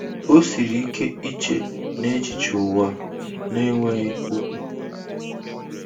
O siri ike iche n'echiche ụwa na-enweghị okwu.